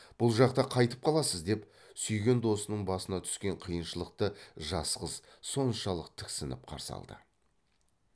бұл жақта қайтіп қаласыз деп сүйген досының басына түскен қиыншылықты жас қыз соншалық тіксініп қарсы алды